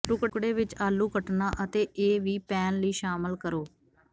ਟੁਕੜੇ ਵਿੱਚ ਆਲੂ ਕੱਟਣਾ ਅਤੇ ਇਹ ਵੀ ਪੈਨ ਲਈ ਸ਼ਾਮਿਲ ਕਰੋ